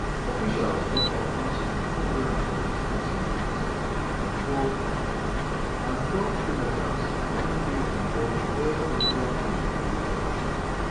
officials don confam say na 242 passengers and twelve and twelve crew members na im dey onboard di air india plane wey crash.